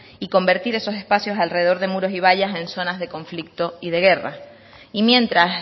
y convertir esos espacios alrededor de muros y vallas en zonas de conflicto y de guerra y mientras